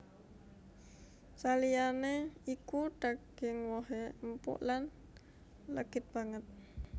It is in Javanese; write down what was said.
Saliyané iku daging wohé empuk lan legit banget